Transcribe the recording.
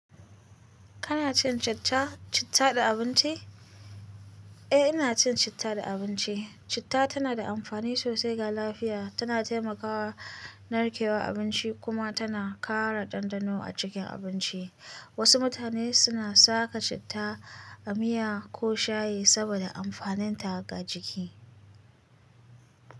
Kana cin chach-- citta da abinci? Eh, ina cin citta da abinci. Citta tana da amfani sosai ga lafiya. Tana taimakawa narkewar abinci kuma tana ƙara ɗanɗano a cikin abinci. Wasu mutane suna saka citta a miya ko shayi saboda amfaninta ga jiki.